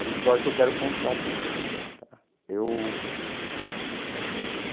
É uma história que eu quero contar também para eu.